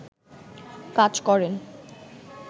কাজ করেন